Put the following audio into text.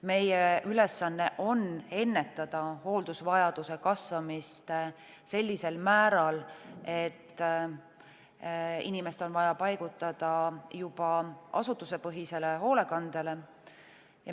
Meie ülesanne on ennetada hooldusvajaduse kasvamist sellisel määral, et inimest on vaja paigutada juba asutusepõhisele hoolekandele.